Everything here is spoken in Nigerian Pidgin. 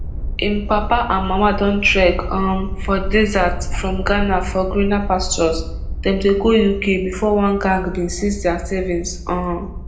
im papa and mama don trek um for desert from ghana for greener pastures dem dey go uk bifor one gang bin seize dia savings um